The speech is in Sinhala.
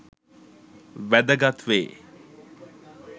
වැදගත් වේ.